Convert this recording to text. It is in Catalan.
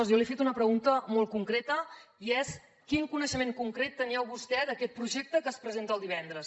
jo li he fet una pregunta molt concreta i és quin coneixement concret tenia vostè d’aquest projecte que es presenta el divendres